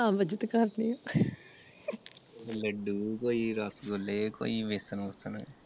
ਤਾ ਮਦਦ ਕਰਦੇ